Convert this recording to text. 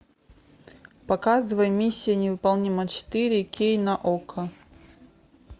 показывай миссия невыполнима четыре кей на окко